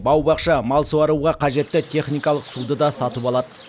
бау бақша мал суаруға қажетті техникалық суды да сатып алады